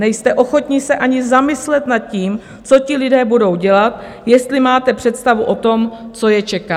Nejste ochotni se ani zamyslet nad tím, co ti lidé budou dělat, jestli máte představu o tom, co je čeká.